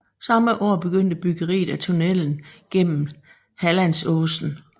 Samme år begyndte byggeriet af tunnelen gennem Hallandsåsen